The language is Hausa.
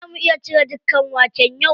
Za mu iya cire dukan waken yau?